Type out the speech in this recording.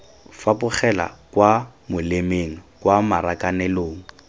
fapogela kwa molemeng kwa marakanelong